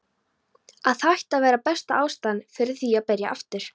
Að hætta var besta ástæðan fyrir því að byrja aftur.